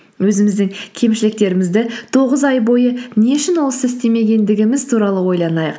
өзіміздің кемшіліктерімізді тоғыз ай бойы не үшін ол істі істемегендігіміз туралы ойланайық